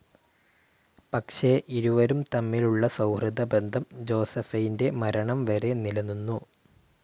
പക്ഷേ ഇരുവരും തമ്മിലുള്ള സൗഹൃദബന്ധം ജോസഫൈൻ്റെ മരണം വരെ നിലനിന്നു.